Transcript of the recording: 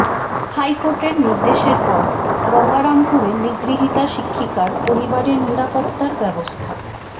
হাইকোর্টের নির্দেশের পর গঙ্গারামপুরে নিগৃহীতা শিক্ষিকার পরিবারের নিরাপত্তার ব্যবস্থা